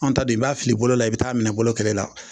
An ta dun i b'a fili bolola i be taa minɛ bolo kɛlɛ la